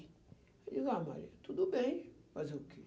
Eu disse, ah, Maria, tudo bem, fazer o quê?